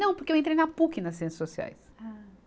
Não, porque eu entrei na Puc nas Ciências Sociais. Ah